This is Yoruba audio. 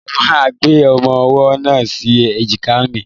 Mo máa gbé ọmọ-ọwọ́ náà sí èjìká mi